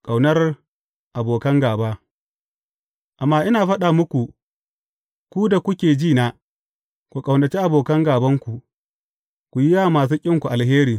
Ƙaunar abokan gāba Amma ina faɗa muku, ku da kuke ji na, ku ƙaunaci abokan gābanku, ku yi wa masu ƙinku alheri.